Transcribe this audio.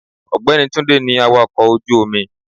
Ògbẹ́ni Túndé ní awàkọ̀ ojú omi.